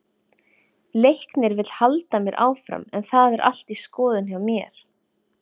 Leiknir vill halda mér áfram en það er allt í skoðun hjá mér.